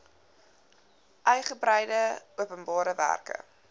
uigebreide openbare werke